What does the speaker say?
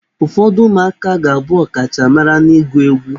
Ụfọdụ ụmụaka ga-abụ ọkachamara n'ịgụ egwu.